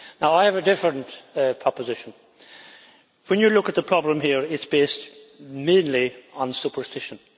I have a different proposition when you look at the problem here, it is based mainly on superstition.